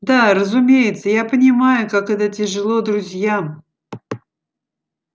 да разумеется я понимаю как это тяжело друзьям